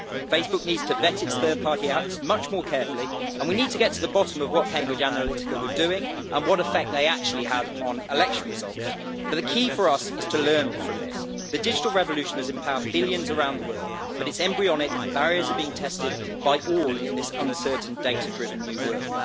Facebook needs to vet its third-party apps much more carefully, and we need to get to the bottom of what Cambridge Analytica were doing and what effect they actually had on election results. But the key for us is to learn from this the digital revolution has empowered billions around the world, but it is embryonic and barriers are being tested by all in this uncertain data-driven new world.